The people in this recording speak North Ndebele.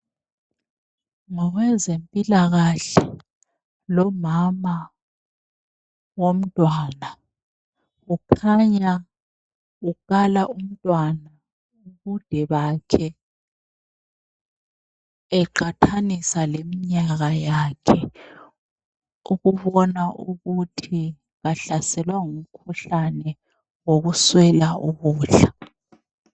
Ngowezempilakahle lomama womntwana. Kukhanya ukala umntwana ubude bakhe eqathanisa leminyaka yakhe ukubona ukuthi kahlaselwa ngumkhuhlane wokuswela ukudla.